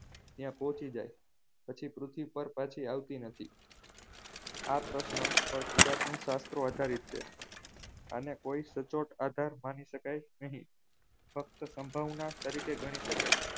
ત્યાં પહોંચી જાય પછી પૃથ્વી પર પાછી આવતી નથી આ પ્રશ્ન પર પુરાતન શાસ્ત્રો આધારિત છે અને કોઈ સચોટ આધાર માની શકાય નહીં ફક્ત સંભાવના તરીકે ગણી શકાય